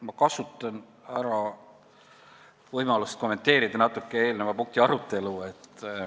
Ma kasutan ära võimalust natuke kommenteerida eelmise punkti arutelu.